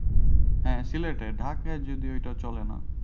হ্যাঁ সিলেটে। ঢাকায় যদিও এইটা চলেনা।